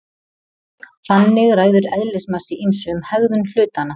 Þannig ræður eðlismassi ýmsu um hegðun hlutanna.